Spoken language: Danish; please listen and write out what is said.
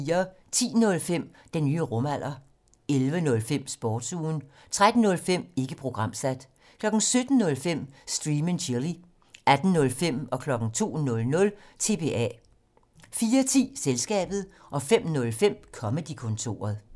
10:05: Den nye rumalder 11:05: Sportsugen 13:05: Ikke programsat 17:05: Stream and Chill 18:05: TBA 02:00: TBA 04:10: Selskabet 05:05: Comedy-kontoret